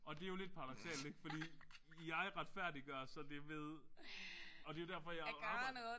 Og det jo lidt paradoksalt ik fordi jeg retfærdiggør så det ved og det jo derfor jeg jo arbejder